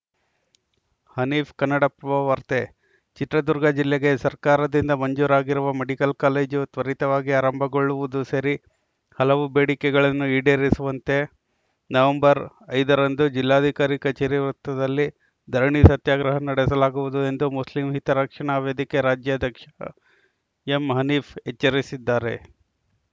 ಹನೀಫ್‌ ಕನ್ನಡಪ್ರಭವಾರ್ತೆ ಚಿತ್ರದುರ್ಗ ಜಿಲ್ಲೆಗೆ ಸರ್ಕಾರದಿಂದ ಮಂಜೂರಾಗಿರುವ ಮೆಡಿಕಲ್‌ ಕಾಲೇಜು ತ್ವರಿತವಾಗಿ ಆರಂಭಗೊಳ್ಳುವುದು ಸೇರಿ ಹಲವು ಬೇಡಿಕೆಗಳನ್ನು ಈಡೇರಿಸುವಂತೆ ನವೆಂಬರ್‌ ಐದು ರಂದು ಜಿಲ್ಲಾಧಿಕಾರಿ ಕಚೇರಿ ವೃತ್ತದಲ್ಲಿ ಧರಣಿ ಸತ್ಯಾಗ್ರಹ ನಡೆಸಲಾಗುವುದು ಎಂದು ಮುಸ್ಲಿಂ ಹಿತರಕ್ಷಣಾ ವೇದಿಕೆ ರಾಜ್ಯಾಧ್ಯಕ್ಷ ಎಂಹನೀಫ್‌ ಎಚ್ಚರಿಸಿದ್ದಾರೆ